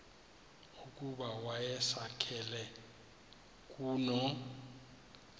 ukuba wayisakele kuno